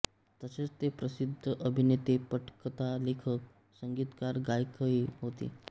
तसेच ते प्रसिद्ध अभिनेते पटकथालेखक संगीतकार गायकही होते